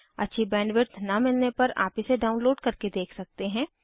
अच्छी बैंडविड्थ न मिलने पर आप इसे डाउनलोड करके देख सकते हैं